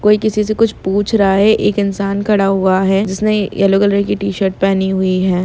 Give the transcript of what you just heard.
कोई किसी से कुछ पूछ रहा है एक इंसान खडा हुआ है जिसने येलो कलर की टीशर्ट पहनी हुई हैं।